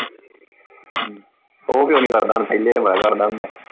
ਹਮ ਉਹ ਕਿਉਂ ਨੀ ਕਰਦਾ ਹੁਣ ਪਹਿਲੇ ਤੇ ਬੜਾ ਕਰਦਾ ਹੁੰਦਾ ਸੀ।